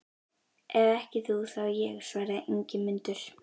Ef ekki þú, þá ég, svaraði Ingimundur.